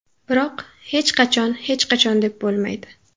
Biroq hech qachon hech qachon deb bo‘lmaydi.